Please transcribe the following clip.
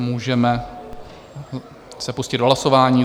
A můžeme se pustit do hlasování.